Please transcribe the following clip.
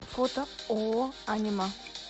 фото ооо анима